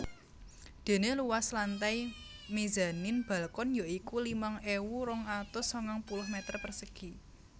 Dene luas lantai mezanin balkon ya iku limang ewu rong atus sangang puluh meter persegi